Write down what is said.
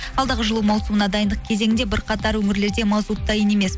алдағы жылу маусымына дайындық кезеңде бірқатар өңірлерде мазут дайын емес